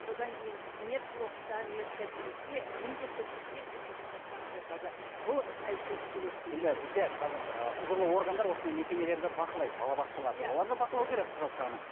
содан кейін медблокта медкабинетте міндетті түрде сертификаттары жатады бұл сәйкес келеді дегенге енді бізде қазір құзырлы органдар осындай мекемелерді бақылайды балабақшаларды оларды бақылау керек құжат жағынан